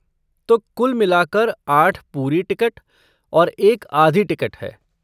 तो कुल मिलाकर आठ पूरी टिकट और एक आधी टिकट है।